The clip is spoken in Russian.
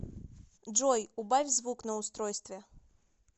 джой убавь звук на устройстве